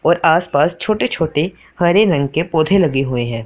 और आसपास छोटे छोटे हरे रंग के पौधे लगे हुए हैं।